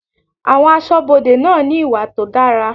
Àwọn aṣọbode náà ní ìwà tó dára.